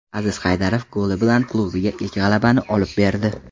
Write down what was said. Aziz Haydarov goli bilan klubiga ilk g‘alabani olib berdi.